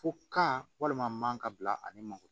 Fo ka walima man ka bila ani manko